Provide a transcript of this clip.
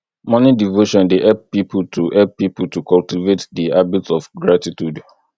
morning devotion dey help pipo to help pipo to cultivate di habit of gratitude